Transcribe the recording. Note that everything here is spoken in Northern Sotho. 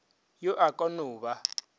yo a ka no ba